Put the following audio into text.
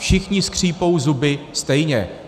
Všichni skřípou zuby stejně.